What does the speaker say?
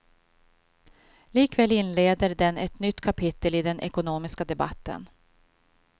Likväl inleder den ett nytt kapitel i den ekonomiska debatten.